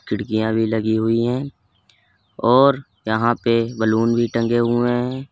खिड़कियां भी लगी हुई हैं और यहां पे बैलून भी टंगे हुए हैं।